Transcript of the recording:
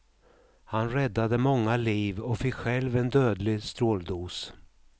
Han räddade många liv och fick själv en dödlig stråldos.